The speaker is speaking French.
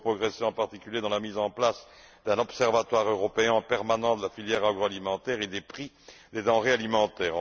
Il nous faut progresser en particulier dans la mise en place d'un Observatoire européen permanent de la filière agroalimentaire et des prix des denrées alimentaires.